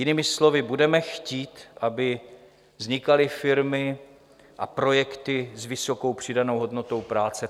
Jinými slovy, budeme chtít, aby vznikaly firmy a projekty s vysokou přidanou hodnotou práce.